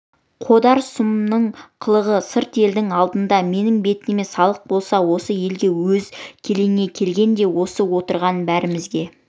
қодар сұмның қылығы сырт елдің алдында менің бетіме салық болса осы елге өз келеңе келгенде осы отырған бәрімізге